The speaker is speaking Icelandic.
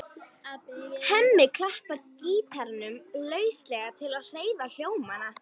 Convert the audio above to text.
Hemmi klappar gítarnum lauslega til að heyra hljómana.